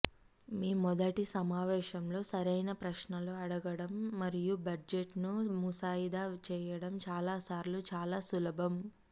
మీ మొదటి సమావేశంలో సరైన ప్రశ్నలను అడగడం మరియు బడ్జెట్ను ముసాయిదా చేయడం చాలా సార్లు చాలా సులభం